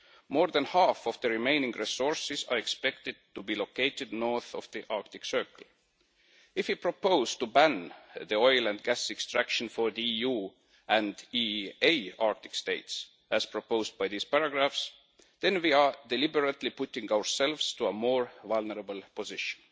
More than half of the remaining resources are expected to be located north of the Arctic Circle. If we propose to ban the oil and gas extraction for the EU and EEA Arctic states, as proposed by these paragraphs, then we are deliberately putting ourselves in a more vulnerable position.